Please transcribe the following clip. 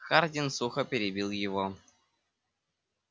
хардин сухо перебил его